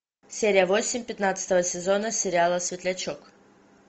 серия восемь пятнадцатого сезона сериала светлячок